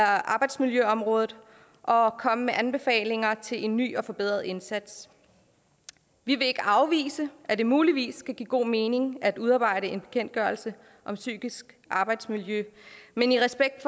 arbejdsmiljøområdet og og komme med anbefalinger til en ny og forbedret indsats vi vil ikke afvise at det muligvis kan give god mening at udarbejde en bekendtgørelse om psykisk arbejdsmiljø men i respekt